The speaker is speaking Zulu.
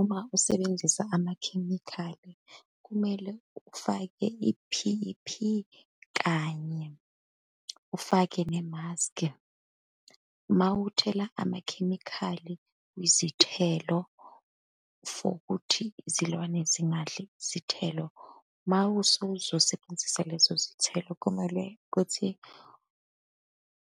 Uma usebenzisa amakhemikhali, kumele ufake i-P_P kanye, ufake ne-mask. Uma uthela amakhemikhali kwizithelo for ukuthi izilwane zingadli izithelo. Uma usuzosebenzisa lezo zithelo, kumele kuthi